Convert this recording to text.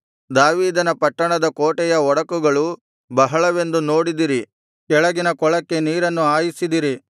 ದಾವೀದನ ಪಟ್ಟಣದ ಕೋಟೆಯ ಒಡಕುಗಳು ಬಹಳವೆಂದು ನೋಡಿದಿರಿ ಕೆಳಗಿನ ಕೊಳಕ್ಕೆ ನೀರನ್ನು ಹಾಯಿಸಿದಿರಿ